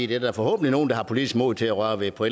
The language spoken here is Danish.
det er der forhåbentlig nogle der har politisk mod til at røre ved på